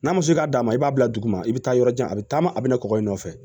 N'a musi k'a ma i b'a bila dugu ma i bɛ taa yɔrɔ jan a bɛ taama a bɛ nakɔ i nɔfɛ